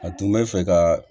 A tun bɛ fɛ ka